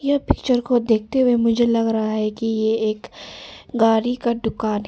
Picture को देखते हुए मुझे लग रहा है कि ये एक गाड़ी का दुकान है।